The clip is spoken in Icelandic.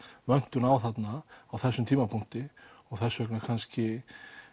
vöntun á þarna á þessum tímapunkti og þess vegna kannski